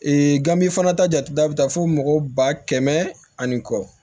ganme fana ta jate da bi taa fo mɔgɔ ba kɛmɛ ani kɔ